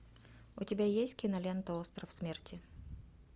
у тебя есть кинолента остров смерти